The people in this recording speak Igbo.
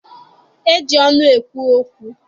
E ji ọnụ ekwu okwu.